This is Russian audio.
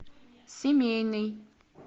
семейный